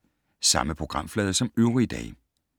Samme programflade som øvrige dage